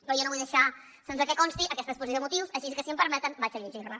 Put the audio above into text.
però jo no vull deixar sense que consti aquesta exposició de motius així que si m’ho permeten la llegiré